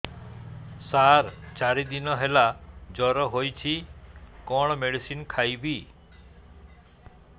ସାର ଚାରି ଦିନ ହେଲା ଜ୍ଵର ହେଇଚି କଣ ମେଡିସିନ ଖାଇବି